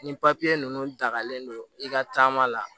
Ni papiye ninnu dagalen don i ka taama la